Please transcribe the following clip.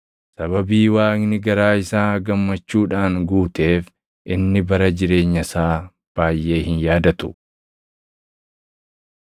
Sababii Waaqni garaa isaa gammachuudhaan guuteef inni bara jireenya isaa baayʼee hin yaadatu.